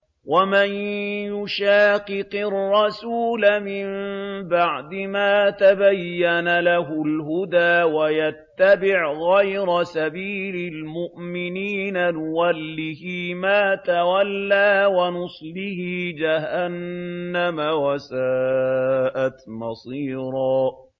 وَمَن يُشَاقِقِ الرَّسُولَ مِن بَعْدِ مَا تَبَيَّنَ لَهُ الْهُدَىٰ وَيَتَّبِعْ غَيْرَ سَبِيلِ الْمُؤْمِنِينَ نُوَلِّهِ مَا تَوَلَّىٰ وَنُصْلِهِ جَهَنَّمَ ۖ وَسَاءَتْ مَصِيرًا